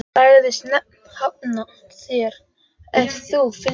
Hann sagðist hafna þér ef þú fylgdir mér.